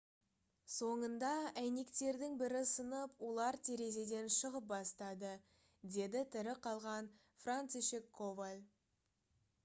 «соңында әйнектердің бірі сынып олар терезеден шығып бастады »- деді тірі қалған францишек коваль